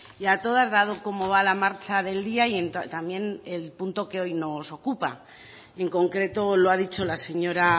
y a todas dado cómo va la marcha del día y también el punto que hoy nos ocupa y en concreto lo ha dicho la señora